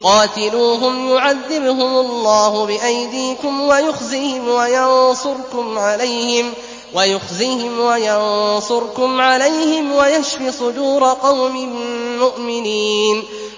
قَاتِلُوهُمْ يُعَذِّبْهُمُ اللَّهُ بِأَيْدِيكُمْ وَيُخْزِهِمْ وَيَنصُرْكُمْ عَلَيْهِمْ وَيَشْفِ صُدُورَ قَوْمٍ مُّؤْمِنِينَ